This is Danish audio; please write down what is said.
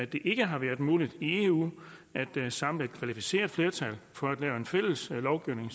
det ikke har været muligt i eu at samle et kvalificeret flertal for at lave en fælles lovgivning